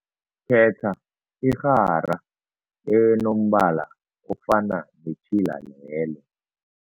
Khetha irhara enombala ofana netjhila lelo.